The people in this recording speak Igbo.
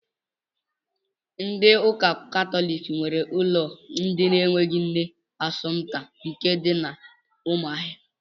Ndị ụka katọliki nwe ụlọ ndị na-enweghị nne Asọmta nke dị na Ụmụahịa.